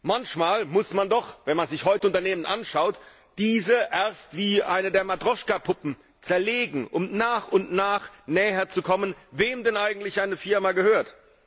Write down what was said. Manchmal muss man doch, wenn man sich heute Unternehmen anschaut, diese erst wie eine Matrjoschka Puppe zerlegen, um nach und nach der Antwort näherzukommen, wem denn eigentlich eine Firma gehört.